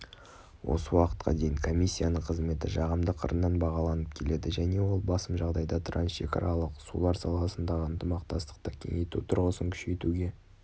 осы уақытқа дейін комиссияның қызметі жағымды қырынан бағаланып келеді және ол басым жағдайда трансшекаралық сулар саласындағы ынтымақтастықты кеңейту тұрғысын күшейтуге